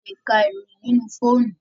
alè k'a iroyin nínú fóònù